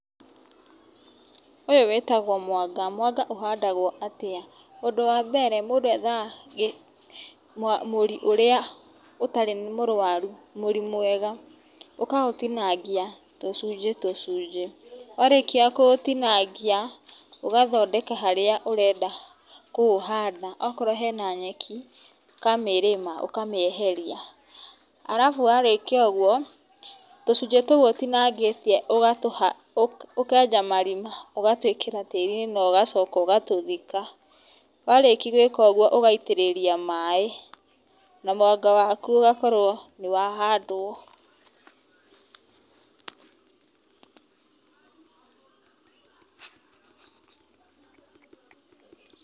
Ũyũ wĩtagwo mũanga. Mũanga ũhandagwo atĩa? Ũndũ wa mbere mũndũ ethaga mũri ũrĩa ũtarĩ mũrwaru, mũri mwega, ũkaũtinangia tũcunjĩ tũcunjĩ. Warĩkia kũũtinangia ũgathondeka harĩa ũrenda kũũhanda. Akorwo he na nyeki, ũkamĩrĩma ũkamĩeheria. Alafu warĩkia ũguo, tũcunjĩ tũu ũtinangĩtie ũkenja marima ũgatwĩkĩra tĩĩri-inĩ na ũgacoka ũgatũthika. Warĩkia gwĩka ũguo, ũgaitĩrĩria maĩ na mwanga waku ũgakorwo nĩ wahandwo.